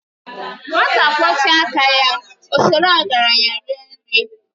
Nwata kwọchapu aka ya, ọ sọrọ ọgaranya rie nri.